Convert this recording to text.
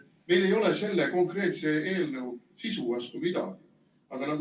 Meil ei ole selle konkreetse eelnõu sisu vastu midagi, aga nagu ...